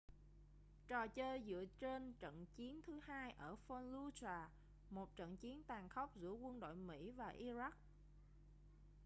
trò chơi dựa trên trận chiến thứ hai ở fallujah một trận chiến tàn khốc giữa quân đội mỹ và iraq